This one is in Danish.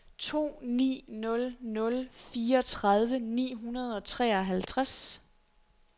to ni nul nul fireogtredive ni hundrede og treoghalvtreds